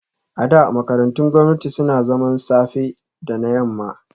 A da, makarantun gwamnati suna zaman safe da na yamma